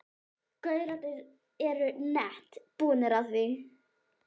gaurarnir eru nett búnir á því.